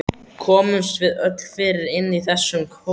Komumst við öll fyrir inni í þessum kofa?